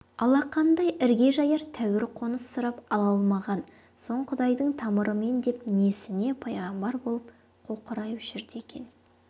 алақандай ірге жаяр тәуір қоныс сұрап ала алмаған соң құдайдың тамырымын деп несіне пайғамбар болып қоқырайып жүрді екен